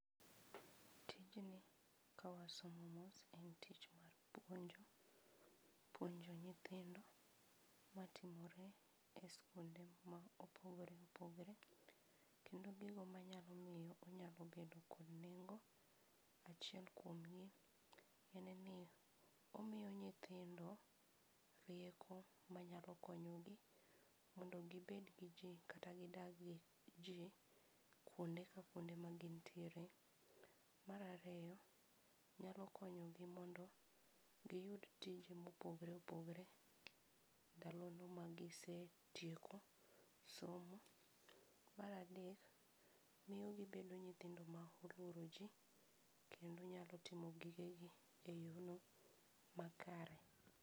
Tijni ka wasomo mos en tich mar puonjo. Puonjo nyithindo matimore eskunde ma opogore opogore. Kendo gigo manyalo miyo onyalo bedo kod nengo. Achiel kuomgi en ni omiyo nyithindo rieko manyalo konyogi mondo gibed gi jii kata gidag gi ji kuonde ka kuonde magintiere. Mar ariyo, nyalo konyogi mondo giyud tije mopogore opogore ndalono magisetieko somo. Mar adek, miyo gebedo nyithindo ma oluoro ji kendo nyalo timo gigegi eyorno makre.